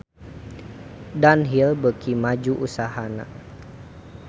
Dunhill beuki maju usahana